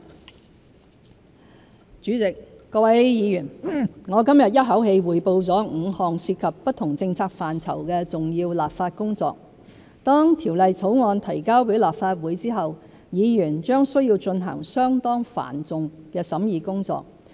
結語主席，各位議員，我今日一口氣匯報了5項涉及不同政策範疇的重要立法工作，當條例草案提交予立法會後，議員將須進行相當繁重的審議工作。